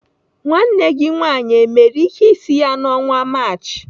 Nwanne gị nwaanyị emere ihe isi ya n' ọnwa Maachị?